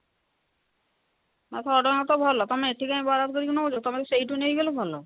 ଆଁ ଶହେ ଟଙ୍କା ତ ଭଲ ତମେ ଏଠି କାଇଁ ବରାଦ କରିକି ନବ ତମର ସେଇଠୁ ନେଇଗଲେ ଭଲ